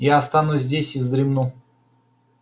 я останусь здесь и вздремну